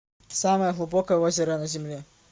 самое глубокое озеро на земле